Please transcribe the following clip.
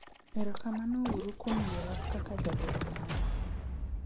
erokamano uru kuom yiera kaka jagoro maru